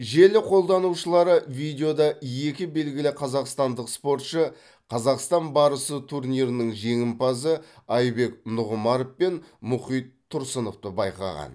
желі қолданушылары видеода екі белгілі қазақстандық спортшы қазақстан барысы турнирінің жеңімпазы айбек нұғымаров пен мұхит тұрсыновты байқаған